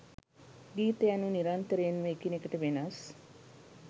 ගීත යනු නිරන්තරයෙන්ම එකිනෙකට වෙනස්